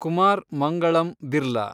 Kumar Mangalam Birla